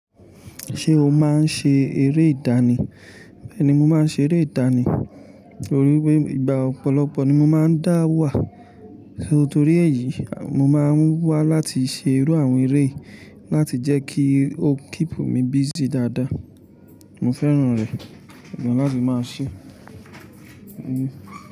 Ṣé o máa ń ṣe eré ìdánì? Bẹ́ẹ́ ni, mo máa ń ṣe eré ìdánì torí pé ìgbà ọ̀pọ̀lọpọ̀ ni mo máa ń dá wà. Nítorí èyí, mo máa ń wá láti ṣe irú àwọn eré láti jẹ́ kí ó keep mi busy dáadáa. Mo fẹ́ràn rẹ̀ gan láti máa ṣe.